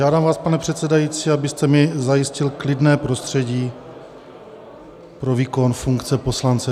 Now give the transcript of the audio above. Žádám vás, pane předsedající, abyste mi zajistil klidné prostředí pro výkon funkce poslance.